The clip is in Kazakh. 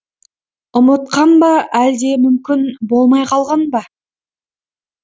ұмытқан ба әлде мүмкін болмай қалған ба